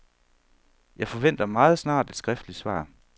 Jeg forventer meget snart et skriftligt svar.